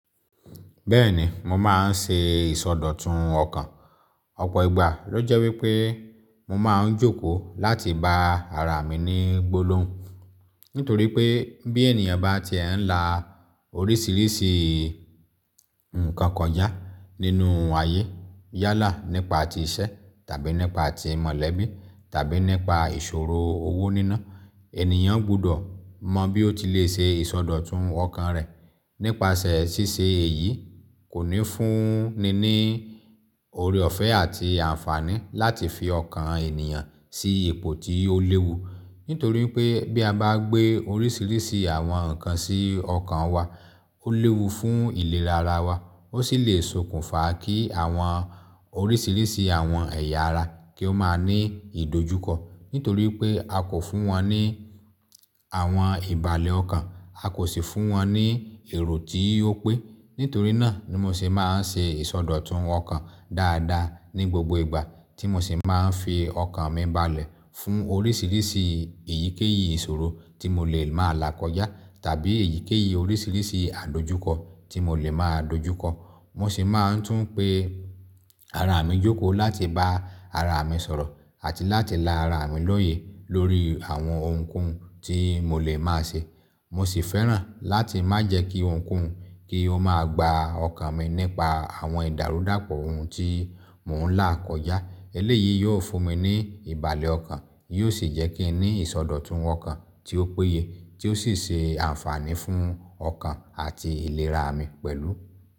Bẹ́ẹ̀ni, mo máa ń ṣe ìsọdọ̀tun ọkàn. Ọ̀pọ̀ ìgbà ló jẹ́ wípé mo máa ń jókòó láti bá ara mi ní gbolóhùn. Nítorí pé bí ènìyàn bá ti e ń la oríṣiríṣi nǹkan koja nínú ayé. Yálà nípa ti iṣẹ́ tàbí nípa ti mọ̀lẹ́bí tàbí nípa ìṣòro owó níná. Ènìyàn gbọ́dọ̀ mọ bí ó ti lè ṣe ìsọdọ̀tun ọkàn rẹ̀. Nípasẹ̀ ṣíṣe èyí kò ní fún ni ní ore ọ̀fẹ́ àti àǹfààní láti fi ọkàn ènìyàn sí ipò tí ó léwu. Nítorí pé bí a bá gbé oríṣiríṣi àwọn nǹkan sí ọkàn wa, ó léwu fún ìlera ara wa. Ó sì lè sokùnfà kí àwọn oríṣiríṣi àwọn ẹ̀yà ara kí ó máa ní ìdojúkọ. Nítorí pé a kò fún wọn ní àwọn ìbàlẹ̀ ọkàn, a kò sì fún wọn ní èrò tí ó péye. Nítorí náà ni mo sì máa ń ṣe ìsọdọ̀tun ọkàn dáadáa ní gbogbo ìgbà tí mo sì máa ń fi ọkàn mi balẹ̀ fún oríṣiríṣi èyíkéyìí ìṣòro tí mo lè máa là kọjá tàbí èyíkéyìí oríṣiríṣi àdojúkọ tí mo lè máa dojúkọ. Mo sì máa ń tún pé ara mi jókòó láti bá ara mi sọ̀rọ̀ àti láti la ara mi lóye lórí àwọn ohunkóhun tí mo lè máa ṣe. Mo sì fẹ́ràn láti má jẹ́ kí ohunkóhun kí ó máa gba ọkàn mi nípa àwọn ìdàrúdàpọ̀ ohun tí mò ń là kọjá. Eléyìí yóò fún mi ní ìbàlẹ̀ ọkàn, yóò sì jẹ́ kí n ní ìsọdọ̀tun ọkàn tí ó péye tí ó sì ṣe àǹfààní fún ọkàn àti ìlera mi pẹ̀lú.